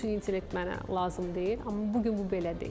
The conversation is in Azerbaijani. Süni intellekt mənə lazım deyil, amma bu gün bu belə deyil.